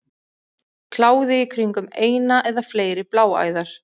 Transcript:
Kláði í kringum eina eða fleiri bláæðar.